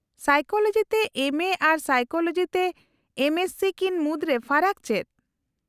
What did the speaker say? -Psychology ᱛᱮ MA ᱟᱨ psychology ᱛᱮ ᱮᱢᱹᱮᱥᱥᱤ ᱠᱤᱱ ᱢᱩᱫᱨᱮ ᱯᱷᱟᱨᱟᱠ ᱪᱮᱫ ?